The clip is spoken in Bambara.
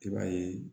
I b'a ye